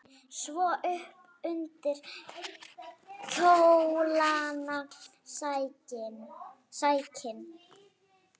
Svo upp undir kjólana sækinn!